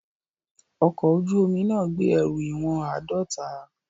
Ọkọ̀ ojú omi náà gbé ẹrù ìwọ̀n àádọ́ta.